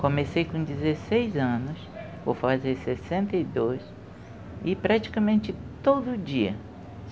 Comecei com dezesseis anos, vou fazer sessenta e dois e praticamente todo dia.